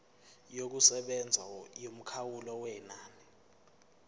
yokusebenza yomkhawulo wenani